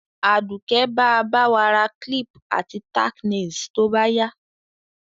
Àdùké ba ba wa ra clip àti tack nails to báyá